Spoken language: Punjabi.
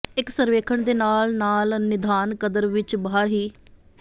ਇਕ ਸਰਵੇਖਣ ਦੇ ਨਾਲ ਨਾਲ ਨਿਦਾਨ ਕਦਰ ਵਿੱਚ ਬਾਹਰ ਹੀ